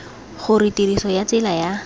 gore tiriso ya tsela ya